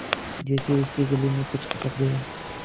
जैसे उसके गले में कुछ अटक गया